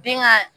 Den ka